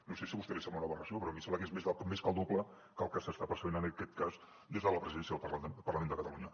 no sé si a vostè li sembla una aberració però a mi em sembla que és més del doble que el que s’està percebent en aquest cas des de la presidència del parlament de catalunya